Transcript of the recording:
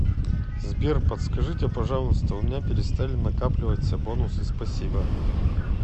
сбер подскажите пожалуйста у меня перестали накапливаться бонусы спасибо